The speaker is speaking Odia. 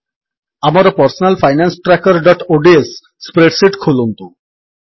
ଆମର personal finance trackerଓଡିଏସ ସ୍ପ୍ରେଡ୍ ଶୀଟ୍ ଖୋଲନ୍ତୁ